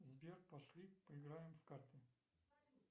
сбер пошли поиграем в карты